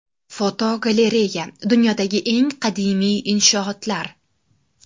Fotogalereya: Dunyodagi eng qadimiy inshootlar.